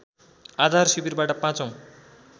आधार शिविरबाट पाचौँ